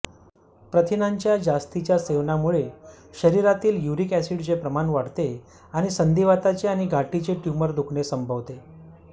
प्रथिनांच्या जास्तीच्या सेवनामुळे शरीरातील युरिक एसिडचे प्रमाण वाढते आणि संधिवाताचे आणि गाठीचे ट्यूमर दुखणे संभवते